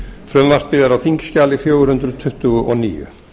frumvarpið er á þingskjali fjögur hundruð tuttugu og níu